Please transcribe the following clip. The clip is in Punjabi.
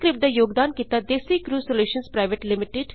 ਇਸ ਸਕ੍ਰਿਪਟ ਦਾ ਯੋਗਦਾਨ ਕੀਤਾ ਡੈਜ਼ੀਕ੍ਰਿਊ ਸੋਲੂਸ਼ਨਜ਼ ਪੀਵੀਟੀ